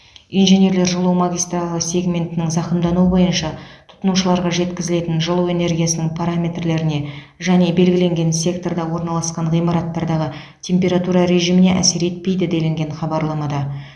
инженерлер жылу магистралі сегментінің зақымдануы бойыншы тұтынушыларға жеткізілетін жылу энергиясының параметрлеріне және белгіленген секторда орналасқан ғимараттардағы температура режиміне әсер етпейді делінген хабарламада